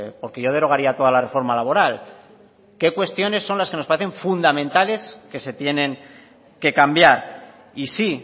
porque yo derogaría toda la reforma laboral qué cuestiones son las que nos parecen fundamentales que se tienen que cambiar y sí